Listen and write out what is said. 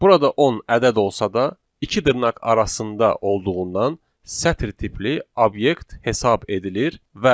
Burada 10 ədəd olsa da, iki dırnaq arasında olduğundan sətr tipli obyekt hesab edilir.